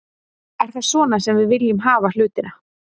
Er það svona sem við viljum hafa hlutina?